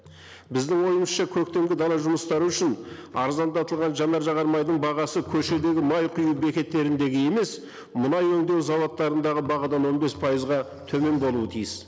біздің ойымызша көктемгі дала жұмыстары үшін арзандатылған жанар жағармайдың бағасы көшедегі май құю бекеттеріндегі емес мұнай өндеу зауыттарындағы бағадан он бес пайызға төмен болуы тиіс